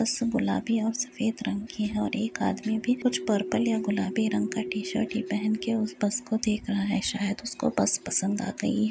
बस गुलाबी और सफ़ेद रंग की है और एक आदमी भी कुछ पर्पल या गुलाबी रंग का टी-शर्ट ही पहन के उस बस को देख रहा है शायद उसको बस पसंद आ गयी --